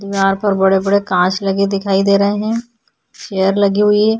यहाँ पर बड़े-बड़े कांच लगे दिखाई दे रहे हैं। चैर लगी हुई है।